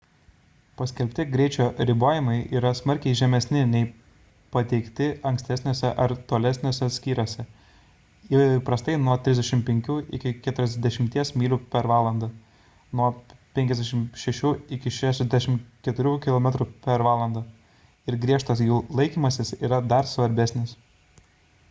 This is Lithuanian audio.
paskelbti greičio ribojimai yra smarkiai žemesni nei pateikti ankstesniuose ar tolesniuose skyriuose – įprastai 35–40 mph 56–64 km/h – ir griežas jų laikymasis yra dar svarbesnis